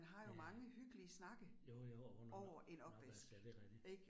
Ja. Jo jo under en opvask, ja det rigtigt